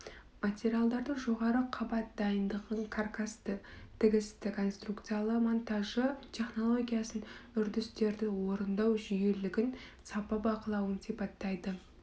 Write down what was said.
материалдарды жоғары қабат дайындығын каркасты тігісті конструкциялы монтажы технологиясын үрдістерді орындау жүйелілігін сапа бақылауын сипаттайды